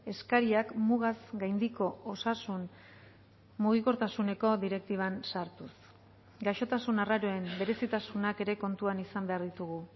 eskariak mugaz gaindiko osasun mugikortasuneko direktiban sartuz gaixotasun arraroen berezitasunak ere kontuan izan behar ditugu